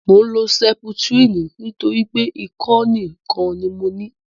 Mò ń lo sẹputirini nítorí pé ikọ́ nìkan ni mo ní